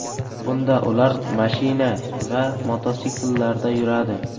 Bunda ular mashina va mototsikllarda yuradi.